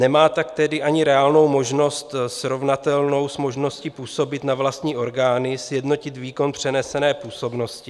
Nemá tak tedy ani reálnou možnost srovnatelnou s možností působit na vlastní orgány, sjednotit výkon přenesené působnosti.